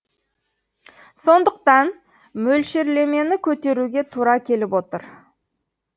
сондықтан мөлшерлемені көтеруге тура келіп отыр